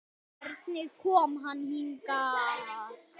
Hvenær kom hann hingað?